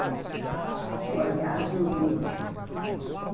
Com o olhinho azul lindo.